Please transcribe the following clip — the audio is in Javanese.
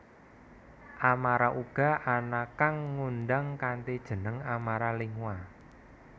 Amara uga ana kang ngundang kanthi jeneng Amara Lingua